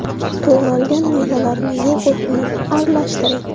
To‘g‘ralgan mevalarni yogurt bilan aralashtiring.